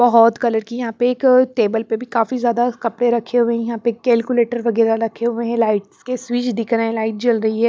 बहुत कलर की यहां पे एक टेबल पर भी काफी ज्यादा कपड़े रखे हुए हैं यहां पे कैलकुलेटर वगैरह रखे हुए हैं लाइट्स के स्विच दिख रहे हैं लाइट जल रही है।